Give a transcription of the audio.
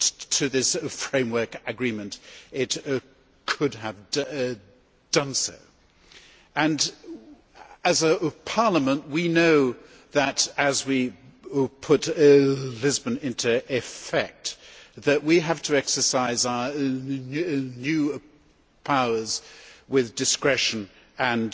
to this framework agreement, it could have done so. As a Parliament, we know that as we put Lisbon into effect, we have to exercise our new powers with discretion and